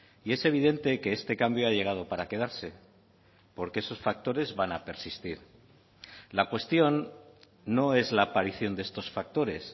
y es evidente que este cambio ha llegado para quedarse porque esos factores van a persistir la cuestión no es la aparición de estos factores